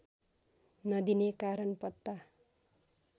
नदिने कारण पत्ता